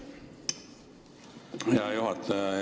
Hea juhataja!